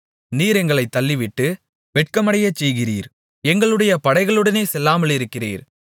நீர் எங்களைத் தள்ளிவிட்டு வெட்கமடையச்செய்கிறீர் எங்களுடைய படைகளுடனே செல்லாமலிருக்கிறீர்